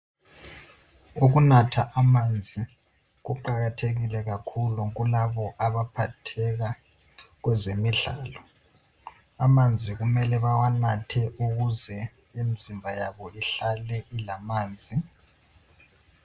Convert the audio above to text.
Ukunatha amanzi kuqakathekile kakhulu kulabo abaphatheka kwezemidlalo amanzi kumele bawanathe ukuze imizimba yabo ihlale ilamanzi.